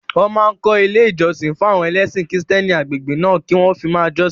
Wọ́n máa kọ́ ilé ìjọsìn fún àwọn ẹlẹ́sìn kìrìsìtẹ́nì agbègbè náà kí wọ́n fi máa jọ́sìn